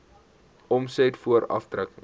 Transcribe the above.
omset voor aftrekkings